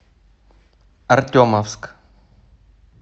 артемовск